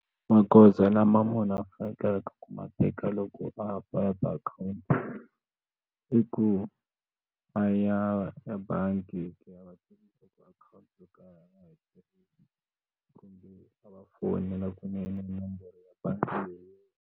Magoza lama munhu a fanekeleke ku ma teka loko a akhowunti i ku a ya ya bangi fonela kunene nomboro ya bangi leyi.